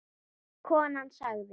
Konan sagði